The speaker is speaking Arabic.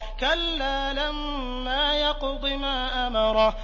كَلَّا لَمَّا يَقْضِ مَا أَمَرَهُ